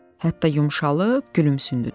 Hətta yumşalıb gülümsündü də.